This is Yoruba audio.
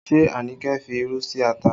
Ṣé Anike fi irú sí ata?